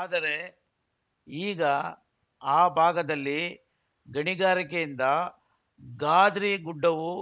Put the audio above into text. ಆದರೆ ಈಗ ಆ ಭಾಗದಲ್ಲಿ ಗಣಿಗಾರಿಕೆಯಿಂದ ಗಾದ್ರಿ ಗುಡ್ಡವೂ